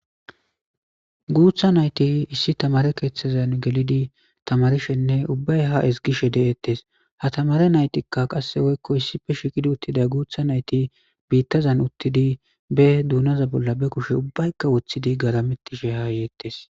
Guutha nayti issi tamaare keethezan gelidi tamaarishenne ubbay haa ezgishe de'etees ha tamaare naytikka qasse woykko issippe shiiqi uttida guutha nayti biitazan uttidi bee duunaza bolla be kushe ubbaykka woththidi garametishe ha yeetees.